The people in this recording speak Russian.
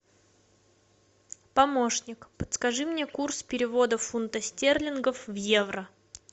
помощник подскажи мне курс перевода фунта стерлингов в евро